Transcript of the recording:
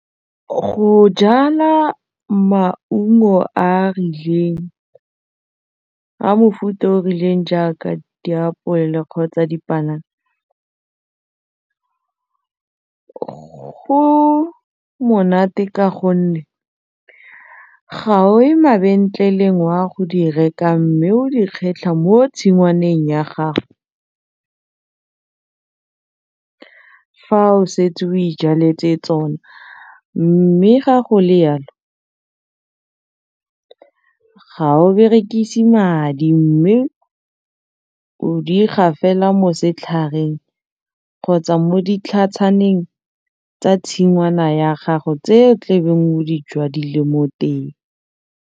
Go jala maungo a a rileng, a mofuta o o rileng jaaka diapole kgotsa dipanana go monate ka gonne ga o ko mabentleleng wa go di reka mme o di kgetlha mo tshingwaneng ya gago fa o setse o ijaletse tsona mme ga go le yalo ga o berekise madi mme o di ga fela mo setlhareng kgotsa mo ditlhatshaneng tsa tshingwana ya gago tse o tlabeng o di jadileng mo teng.